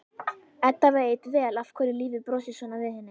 Edda veit vel af hverju lífið brosir svona við henni.